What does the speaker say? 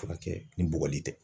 Furakɛ ni bɔgɔli tɛ.